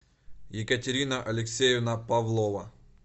екатерина алексеевна павлова